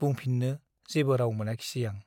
बुंफिन्नो जेबो राउ मोनाखिसै आं ।